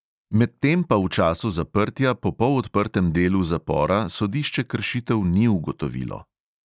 Medtem pa v času zaprtja po polodprtem delu zapora sodišče kršitev ni ugotovilo.